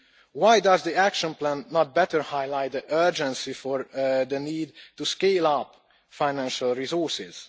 Why does the action plan not better highlight the urgency of the need to scale up financial resources?